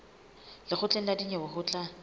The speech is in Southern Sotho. lekgotleng la dinyewe ho tla